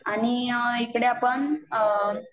आणि इकडे आपण